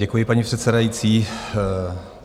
Děkuji, paní předsedající.